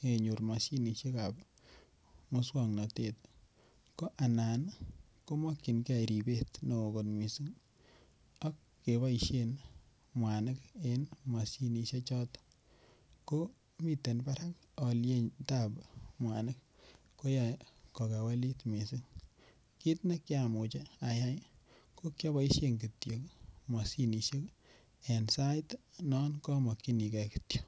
kenyor moshinishekab muswoknotet ko anan komokyingee ribet neo kot missing' ok keboishen mwanik en moshinishechoto komiten barak olietab mwanik koyoe kokewelit missing' kit nekiamuch ayai kokioboishen kityok moshinishek en sait non komokyingee kityok.